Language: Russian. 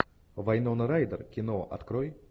вайнона райдер кино открой